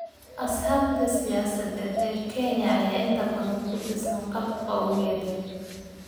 Axsaabta siyaasadeed ee Kenya ayaa inta badan ku dhisan qaab qowmiyadeed.